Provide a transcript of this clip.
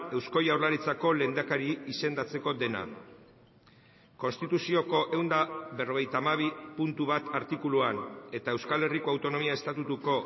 eusko jaurlaritzako lehendakari izendatzeko dena konstituzioko ehun eta berrogeita hamabi puntu bat artikuluan eta euskal herriko autonomia estatutuko